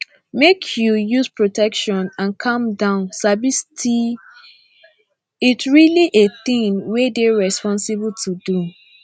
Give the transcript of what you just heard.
make u use protection and calm down sabi sti it really a thing were dey rensposible to do